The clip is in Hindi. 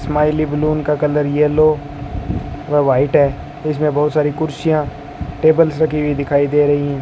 स्माइली बैलून का कलर येलो व व्हाइट है इसमें बहुत सारी कुर्सियां टेबल्स रखी हुई दिखाई दे रही हैं।